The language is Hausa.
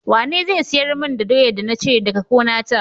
Wane zai siyar mun da doyar da na cire daka gonata?